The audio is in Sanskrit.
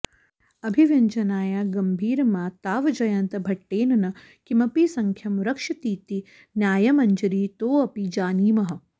अभिव्यञ्जनाया गम्भीरमा तावज्जयन्तभट्टेन न किमपि सख्यं रक्षतीति न्यायमञ्जरीतोऽपि जानीमः